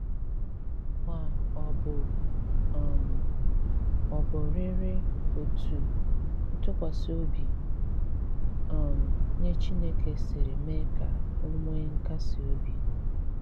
Ma ọ̀ bụ́ um ọ̀bụ̀rị́rị́ otú ntúkwasị obi um nye Chineke siri mee ka ọ nwee nkasi obi!